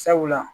Sabula